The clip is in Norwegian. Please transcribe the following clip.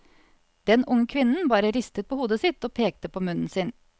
Den unge kvinnen bare ristet på hodet sitt og pekte på munnen sin.